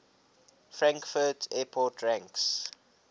frankfurt airport ranks